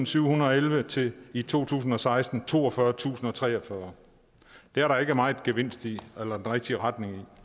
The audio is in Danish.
syvhundrede og elleve til at i to tusind og seksten var toogfyrretusinde og treogfyrre det er der ikke meget gevinst i eller rigtig retning